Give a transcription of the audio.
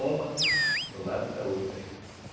Uma do lado da outra juta.